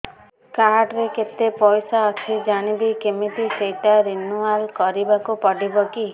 card ରେ କେତେ ପଇସା ଅଛି ଜାଣିବି କିମିତି ସେଟା ରିନୁଆଲ କରିବାକୁ ପଡ଼ିବ କି